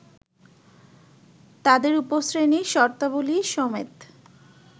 তাদের উপশ্রেণীর শর্তাবলী সমেত